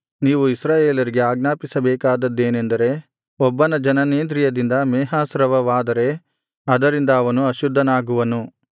ನೀವು ಇಸ್ರಾಯೇಲರಿಗೆ ಆಜ್ಞಾಪಿಸಬೇಕಾದದ್ದೇನೆಂದರೆ ಒಬ್ಬನ ಜನನೇಂದ್ರಿಯದಲ್ಲಿ ಮೇಹಸ್ರಾವವಾದರೆ ಅದರಿಂದ ಅವನು ಅಶುದ್ಧನಾಗುವನು